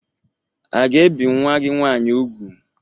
A ga-ebi nwa gị nwaanyị úgwù?